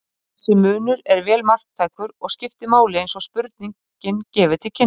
Þessi munur er vel marktækur og skiptir máli eins og spurningin gefur til kynna.